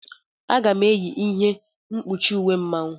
Aga m -eyi ihe mkpuchi uwe Mmanwu.